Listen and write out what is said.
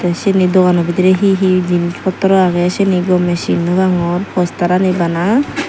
te sayni dogano bidiri he he jinich potro age sayni gome sennw pangor posterani bana.